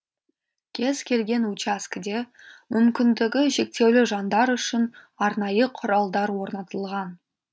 кез келген учаскеде мүмкіндігі шектеулі жандар үшін арнайы құралдар орнатылған